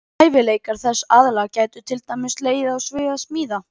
Hæfileikar þess aðila gætu til dæmis legið á sviði smíða.